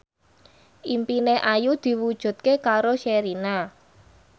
impine Ayu diwujudke karo Sherina